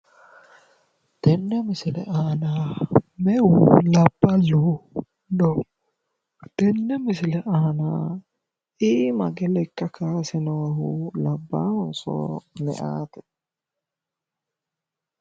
Tenne misile aana meu labballi no?tenne misile aana iima hige lekka kaayse noohu labbaahonso meyaate?